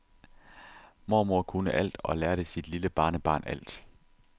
Mormor kunne alt og lærte sit lille barnebarn alt.